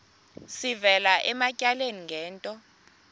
sivela ematyaleni ngento